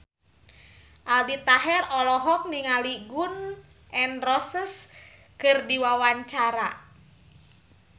Aldi Taher olohok ningali Gun N Roses keur diwawancara